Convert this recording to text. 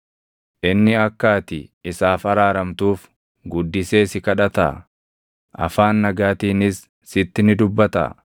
Inni akka ati isaaf araaramtuuf guddisee si kadhataa? Afaan nagaatiinis sitti ni dubbataa?